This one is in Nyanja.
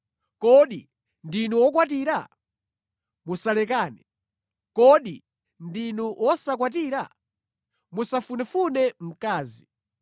Kodi ndinu wokwatira? Musalekane. Kodi ndinu wosakwatira? Musafunefune mkazi.